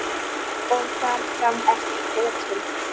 Og þar fram eftir götum.